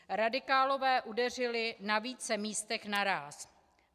Radikálové udeřili na více místech naráz.